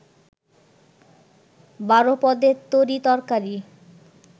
১২ পদের তরি তরকারি